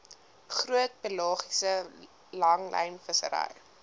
groot pelagiese langlynvissery